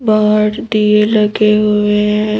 बाहर डीये लगे हुए हैं।